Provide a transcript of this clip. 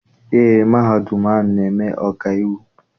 Eé, mahadum ahụ na- eme ọkaiwu.